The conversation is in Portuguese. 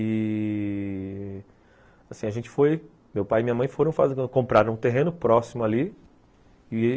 E... Assim, a gente foi... Meu pai e minha mãe foram fazer... Compraram um terreno próximo ali.